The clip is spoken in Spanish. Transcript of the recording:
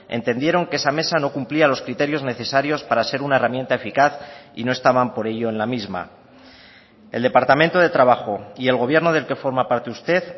entendieron que esa mesa no cumplía los criterios necesarios para ser una herramienta eficaz y no estaban por ello en la misma el departamento de trabajo y el gobierno del que forma parte usted